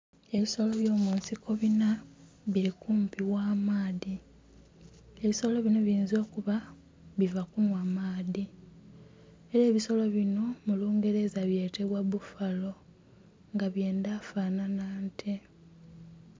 Ebisolo by'omunsiko binha bili kumpi gh'amaadhi. Ebisolo binho biyinza okuba biva kunhwa maadhi. Ela ebisolo binho mu lungereza byetebwa buffalo nga byendha fanhanha nte.